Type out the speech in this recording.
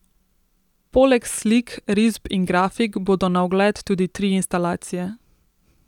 Poleg slik, risb in grafik bodo na ogled tudi tri instalacije.